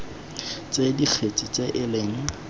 tsa dikgetse tse e leng